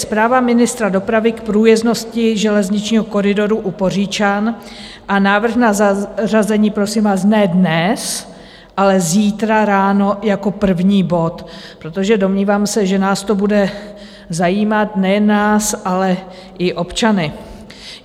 Zpráva ministra dopravy k průjezdnosti železničního koridoru u Poříčan a návrh na zařazení, prosím vás, ne dnes, ale zítra ráno jako první bod, protože domnívám se, že nás to bude zajímat, nejen nás, ale i občany.